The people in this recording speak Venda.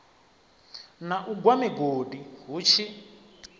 na u gwa migodi hutshi